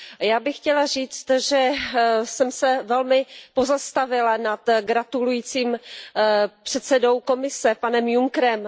A já bych chtěla říct, že jsem se velmi pozastavila nad gratulujícím předsedou Komise Junckerem.